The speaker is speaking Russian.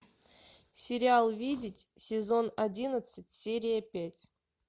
сериал видеть сезон одиннадцать серия пять